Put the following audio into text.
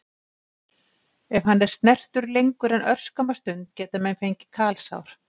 Ef hann er snertur lengur en örskamma stund geta menn fengið kalsár.